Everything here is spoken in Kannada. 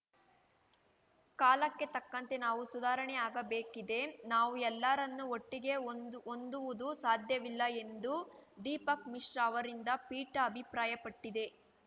ಕಾಲಕ್ಕೆ ತಕ್ಕಂತೆ ನಾವು ಸುಧಾರಣೆ ಆಗಬೇಕಿದೆ ನಾವು ಎಲ್ಲರನ್ನೂ ಒಟ್ಟಿಗೇ ಹೊಂ ಹೊಂದುವುದು ಸಾಧ್ಯವಿಲ್ಲ ಎಂದು ದೀಪಕ್‌ ಮಿಶ್ರಾ ಅವರಿಂದ್ದ ಪೀಠ ಅಭಿಪ್ರಾಯಪಟ್ಟಿದೆ